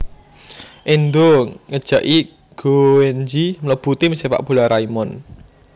Endou ngejaki Gouenji mlebu tim Sepak bola Raimon